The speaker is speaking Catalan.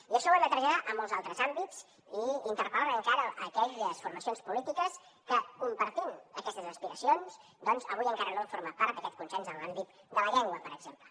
i això ho hem de traslladar a molts altres àmbits i interpel·lar encara aquelles formacions polítiques que compartint aquestes aspiracions doncs avui encara no han format part d’aquest consens en l’àmbit de la llengua per exemple